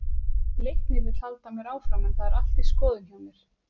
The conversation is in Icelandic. Leiknir vill halda mér áfram en það er allt í skoðun hjá mér.